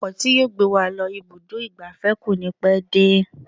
Ọkọ̀ tí yóò gbé wa lọ ibùdó ìgbafẹ́ kò ní pẹ́ dé.